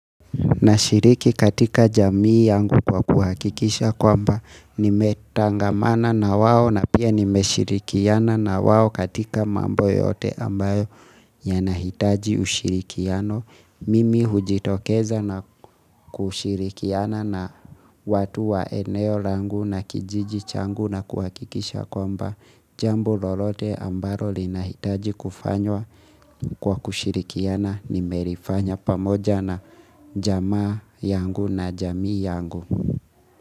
Nashiriki katika jamii yangu kwa kuhakikisha kwamba nimetangamana na wao na pia nimeshirikiana na wao katika mambo yote ambayo yanahitaji ushirikiano. Mimi hujitokeza na kushirikiana na watu wa eneo langu na kijiji changu na kuhakikisha kwamba. Jambo lolote ambalo linahitaji kufanywa kwa kushirikiana nimelifanya pamoja na jamaa yangu na jamii yangu.